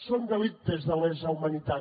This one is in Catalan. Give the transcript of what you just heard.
són delictes de lesa humanitat